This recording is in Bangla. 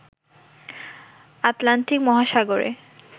আটলান্টিক মহাসাগরে